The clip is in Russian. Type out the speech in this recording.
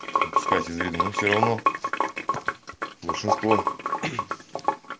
упускать из виду но все равно большинство